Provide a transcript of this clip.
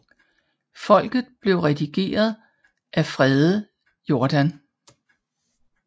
Folket blev redigeret af Frede Jordan